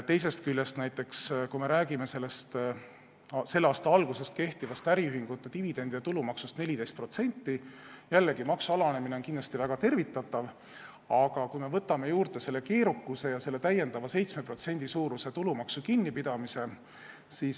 Teisest küljest, kui me räägime selle aasta algusest kehtivast äriühingute dividendide tulumaksust, mis on 14%, siis jällegi, maksu alanemine on kindlasti väga tervitatav, aga siia tuleb juurde võtta see keerukusaspekt ja täiendav 7% tulumaksu kinnipidamine.